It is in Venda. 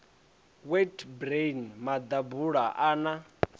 wheat bran maḓabula a na